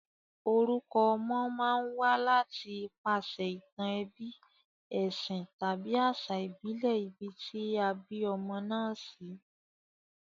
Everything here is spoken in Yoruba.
Orukọ ọmọ ma n wá láti ipasè ìtàn ebí, èsìn tàbí àsà ìbílè ibi tí a bí ọmọ náà sí